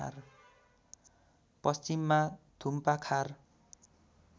पश्चिममा थुम्पाखार